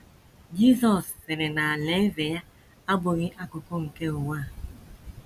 Jizọs sịrị na Alaeze ya abụghị akụkụ nke ụwa a